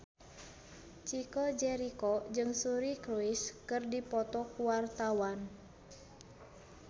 Chico Jericho jeung Suri Cruise keur dipoto ku wartawan